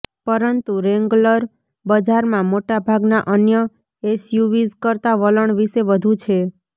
પરંતુ રૅન્ગલર બજારમાં મોટાભાગના અન્ય એસયુવીઝ કરતાં વલણ વિશે વધુ છે